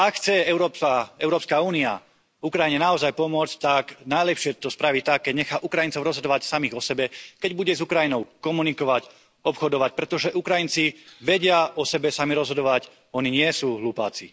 Ak chce Európska únia Ukrajine naozaj pomôcť, tak najlepšie to spraví tak, keď nechá Ukrajincov rozhodovať samých o sebe, keď bude s Ukrajinou komunikovať, obchodovať, pretože Ukrajinci vedia o sebe sami rozhodovať, oni nie sú hlupáci.